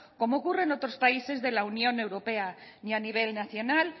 como ocurre en otros países de la unión europea ni a nivel nacional